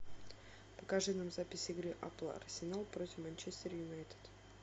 покажи нам запись игры апл арсенал против манчестер юнайтед